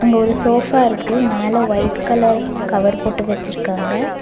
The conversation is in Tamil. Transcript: அங்க ஒரு சோஃபா இருக்கு மேல ஒயிட் கலர் கவர் போட்டு வச்சிருக்காங்க.